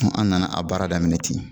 an nana a baara daminɛ ten